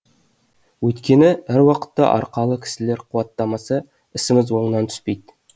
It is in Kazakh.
өйткені әр уақытта арқалы кісілер қуаттамаса ісіміз оңынан түспейді